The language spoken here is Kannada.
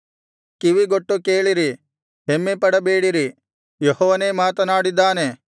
ಕಿವಿಗೊಟ್ಟು ಕೇಳಿರಿ ಹೆಮ್ಮೆಪಡಬೇಡಿರಿ ಯೆಹೋವನೇ ಮಾತನಾಡಿದ್ದಾನೆ